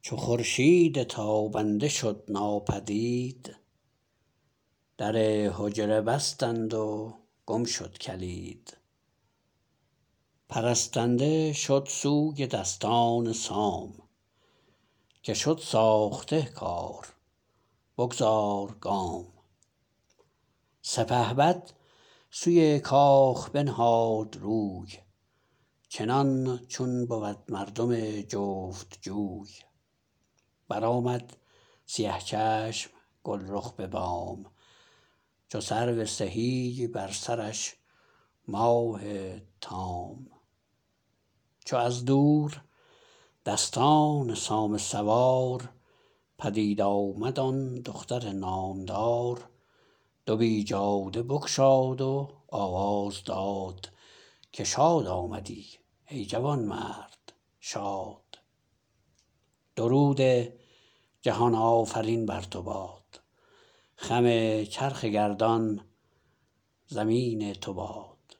چو خورشید تابنده شد ناپدید در حجره بستند و گم شد کلید پرستنده شد سوی دستان سام که شد ساخته کار بگذار گام سپهبد سوی کاخ بنهاد روی چنان چون بود مردم جفت جوی برآمد سیه چشم گلرخ به بام چو سرو سهی بر سرش ماه تام چو از دور دستان سام سوار پدید آمد آن دختر نامدار دو بیجاده بگشاد و آواز داد که شاد آمدی ای جوانمرد شاد درود جهان آفرین بر تو باد خم چرخ گردان زمین تو باد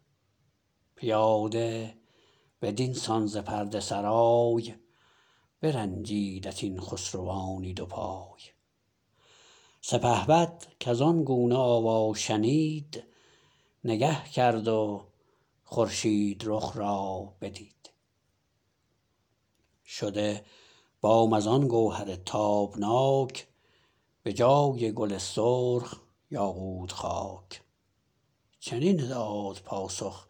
پیاده بدین سان ز پرده سرای برنجیدت این خسروانی دو پای سپهبد کزان گونه آوا شنید نگه کرد و خورشید رخ را بدید شده بام از آن گوهر تابناک به جای گل سرخ یاقوت خاک چنین داد پاسخ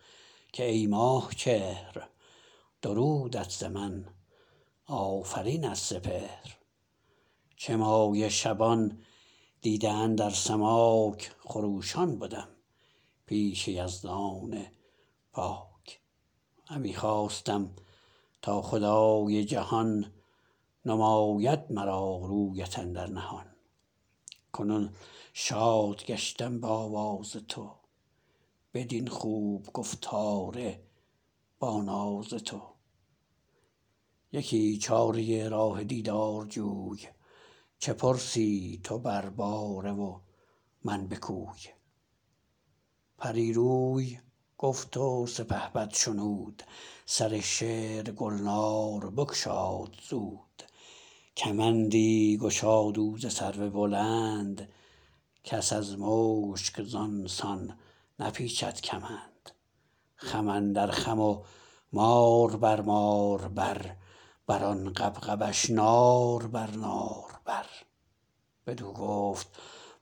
که ای ماه چهر درودت ز من آفرین از سپهر چه مایه شبان دیده اندر سماک خروشان بدم پیش یزدان پاک همی خواستم تا خدای جهان نماید مرا رویت اندر نهان کنون شاد گشتم به آواز تو بدین خوب گفتار با ناز تو یکی چاره راه دیدار جوی چه پرسی تو بر باره و من به کوی پری روی گفت سپهبد شنود سر شعر گلنار بگشاد زود کمندی گشاد او ز سرو بلند کس از مشک زان سان نپیچد کمند خم اندر خم و مار بر مار بر بران غبغبش نار بر نار بر بدو گفت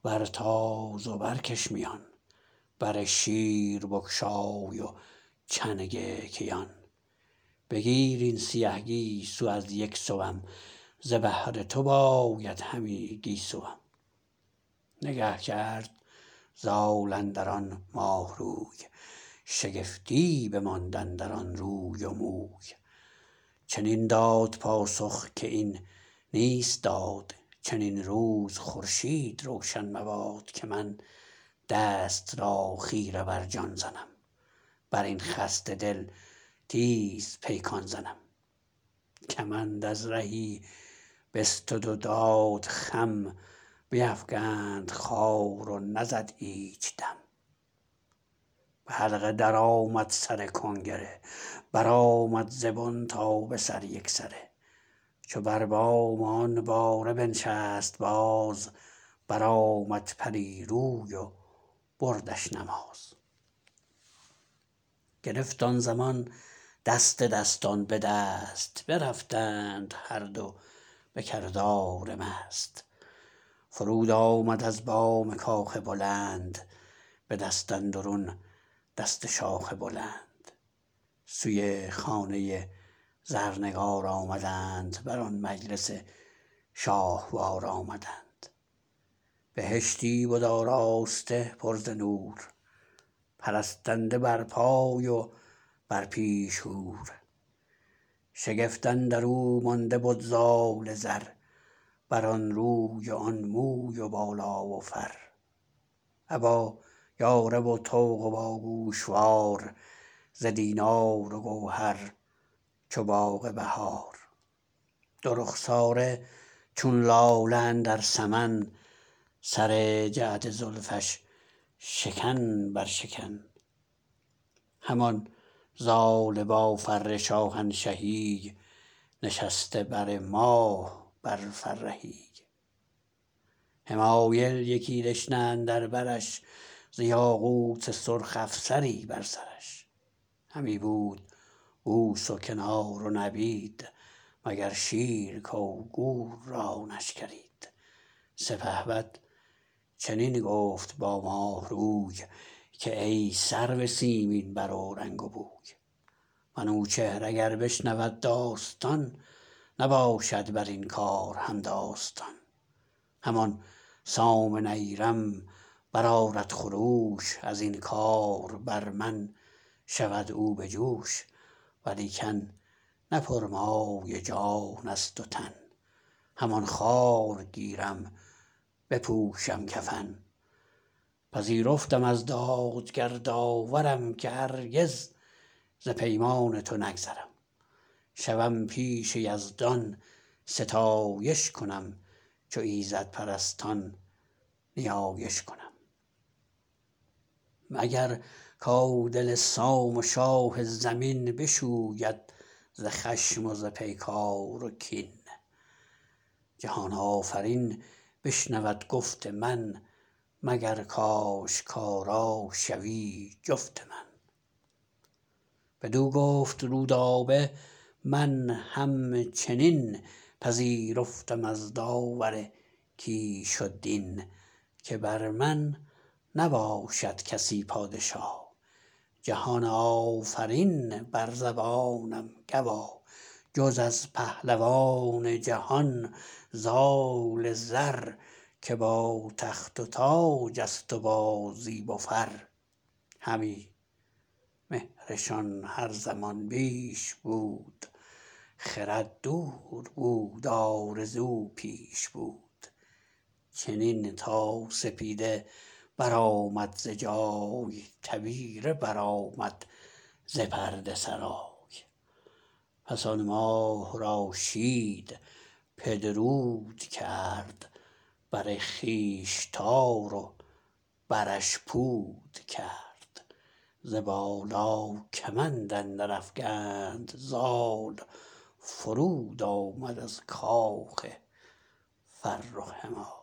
بر تاز و برکش میان بر شیر بگشای و چنگ کیان بگیر این سیه گیسو از یک سوم ز بهر تو باید همی گیسوم نگه کرد زال اندران ماه روی شگفتی بماند اندران روی و موی چنین داد پاسخ که این نیست داد چنین روز خورشید روشن مباد که من دست را خیره بر جان زنم برین خسته دل تیز پیکان زنم کمند از رهی بستد و داد خم بیفگند خوار و نزد ایچ دم به حلقه درآمد سر کنگره برآمد ز بن تا به سر یکسره چو بر بام آن باره بنشست باز برآمد پری روی و بردش نماز گرفت آن زمان دست دستان به دست برفتند هر دو به کردار مست فرود آمد از بام کاخ بلند به دست اندرون دست شاخ بلند سوی خانه زرنگار آمدند بران مجلس شاهوار آمدند بهشتی بد آراسته پر ز نور پرستنده بر پای و بر پیش حور شگفت اندرو مانده بد زال زر برآن روی و آن موی و بالا و فر ابا یاره و طوق و با گوشوار ز دینار و گوهر چو باغ بهار دو رخساره چون لاله اندر سمن سر جعد زلفش شکن بر شکن همان زال با فر شاهنشهی نشسته بر ماه بر فرهی حمایل یکی دشنه اندر برش ز یاقوت سرخ افسری بر سرش همی بود بوس و کنار و نبید مگر شیر کو گور را نشکرید سپهبد چنین گفت با ماه روی که ای سرو سیمین بر و رنگ بوی منوچهر اگر بشنود داستان نباشد برین کار همداستان همان سام نیرم برآرد خروش ازین کار بر من شود او بجوش ولیکن نه پرمایه جانست و تن همان خوار گیرم بپوشم کفن پذیرفتم از دادگر داورم که هرگز ز پیمان تو نگذرم شوم پیش یزدان ستایش کنم چو ایزد پرستان نیایش کنم مگر کو دل سام و شاه زمین بشوید ز خشم و ز پیکار و کین جهان آفرین بشنود گفت من مگر کاشکارا شوی جفت من بدو گفت رودابه من همچنین پذیرفتم از داور کیش و دین که بر من نباشد کسی پادشا جهان آفرین بر زبانم گوا جز از پهلوان جهان زال زر که با تخت و تاجست وبا زیب و فر همی مهرشان هر زمان بیش بود خرد دور بود آرزو پیش بود چنین تا سپیده برآمد ز جای تبیره برآمد ز پرده سرای پس آن ماه را شید پدرود کرد بر خویش تار و برش پود کرد ز بالا کمند اندر افگند زال فرود آمد از کاخ فرخ همال